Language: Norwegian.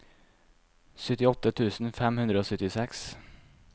syttiåtte tusen fem hundre og syttiseks